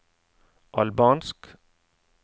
albansk